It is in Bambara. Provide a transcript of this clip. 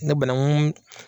Ne banaŋu mun